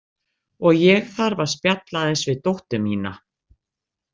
Og ég þarf að spjalla aðeins við dóttur mína.